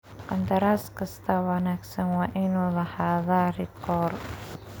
Qandaraaska wanaagsan waa inuu lahaadaa rikoor.